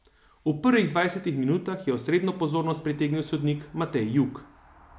V prvih dvajsetih minutah je osrednjo pozornost pritegnil sodnik Matej Jug.